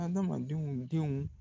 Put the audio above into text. Adamadenw denw